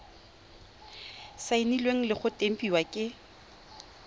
saenilwe le go tempiwa ke